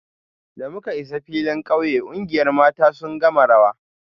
Da muka isa filin kauye, kungiyar mata sun gama rawa